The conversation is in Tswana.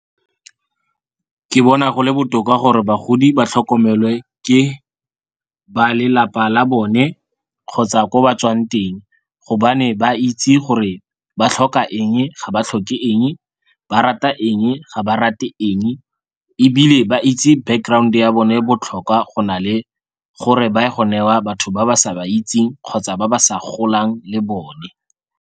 Ke bona go le botoka gore bagodi ba tlhokomelwe ke ba lelapa la bone kgotsa ko ba tswang teng gobane ba itse gore ba tlhoka eng ga ba tlhoke eng, ba rata eng ga ba rate eng. Ebile ba itse background-e ya bone botlhokwa go na le gore ba ye go newa batho ba ba sa ba itseng kgotsa ba ba sa golang le bone.